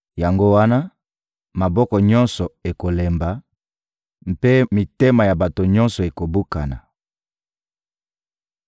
Yango wana, maboko nyonso ekolemba mpe mitema ya bato nyonso ekobukana.